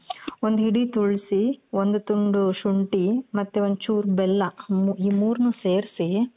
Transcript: ಒಂದ್ ಹಿಡಿ ತುಳ್ಸಿ ಒಂದು ತುಂಡ್ ಶುಂಠಿ ಮತ್ತೆ ಒಂದ್ ಚೂರ್ ಬೆಲ್ಲ ಈ ಮೂರ್ನು ಸೇರ್ಸಿ .